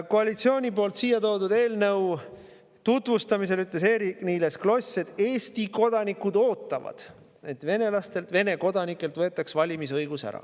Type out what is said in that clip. Koalitsiooni poolt siia toodud eelnõu tutvustamisel ütles Eerik-Niiles Kross, et Eesti kodanikud ootavad, et venelastelt, Vene kodanikelt võetaks valimisõigus ära.